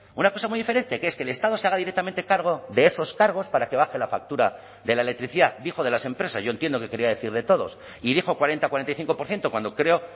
una cosa muy diferente que es que el estado se haga directamente cargo de esos cargos para que baje la factura de la electricidad dijo de las empresas yo entiendo que quería decir de todos y dijo cuarenta cuarenta y cinco por ciento cuando creo